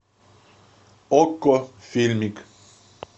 окко фильмик